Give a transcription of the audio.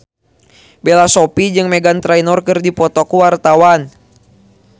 Bella Shofie jeung Meghan Trainor keur dipoto ku wartawan